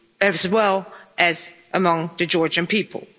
as well as among the Georgian people.